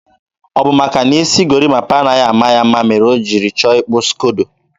ọ bụ maka na isi gorimapa anaghị ama ya mma mere o jiri chọọ ịkpụ skodo.